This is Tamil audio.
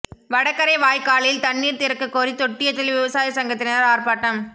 வடகரை வாய்க்காலில் தண்ணீா் திறக்கக் கோரி தொட்டியத்தில் விவசாய சங்கத்தினா் ஆா்ப்பாட்டம்